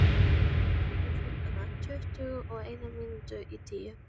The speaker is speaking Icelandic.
Og annað getur hún ekki, bætti hann loksins við.